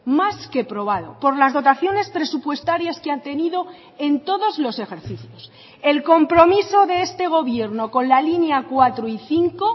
más que probado por las dotaciones presupuestarias que han tenido en todos los ejercicios el compromiso de este gobierno con la línea cuatro y cinco